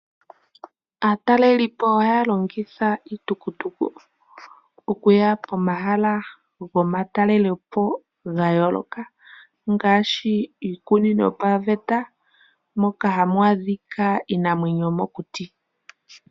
Aatalelipo ohaya longitha iitukutuku okuya pomahala gomatalelepo ga yooloka, ngaashi iikunino yo paveta moka hamu adhika iinamwenyo yomokuti.